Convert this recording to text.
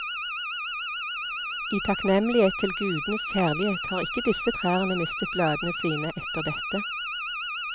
I takknemlighet til gudenes kjærlighet har ikke disse trærne mistet bladene sine etter dette.